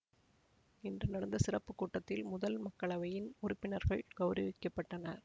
இன்று நடந்த சிறப்பு கூட்டத்தில் முதல் மக்களவையின் உறுப்பினர்கள் கௌரவிக்க பட்டனர்